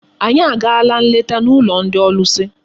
Anyị agaala nleta n'ụlọ ndị ọlụsị.